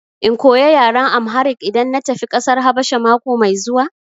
In koya yaran Amharic idan na tafi ƙasar Habasha mako mai zuwa?